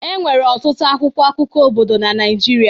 Enwere ọtụtụ akwụkwọ akụkọ obodo na Naịjirịa